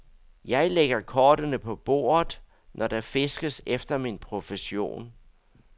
Jeg lægger kortene på bordet, når der fiskes efter min profession.